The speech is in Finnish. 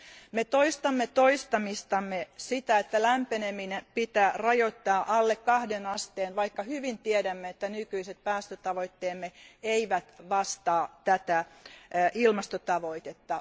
Me toistamme toistamistamme sitä, että lämpeneminen pitää rajoittaa alle kahden asteen, vaikka hyvin tiedämme, että nykyiset päästötavoitteemme eivät vastaa tätä ilmastotavoitetta.